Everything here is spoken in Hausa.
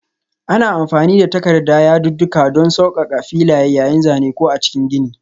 Ana amfani da takarda yadudduka don sassauƙa m filaye yayin zane ko a cikin gini.